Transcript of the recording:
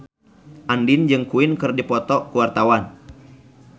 Andien jeung Queen keur dipoto ku wartawan